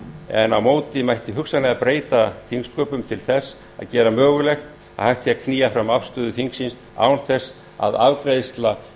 en á móti mætti hugsanlega breyta þingsköpum til þess að gera mögulegt að hægt sé knýja fram afstöðu þingsins án þess að afgreiðsla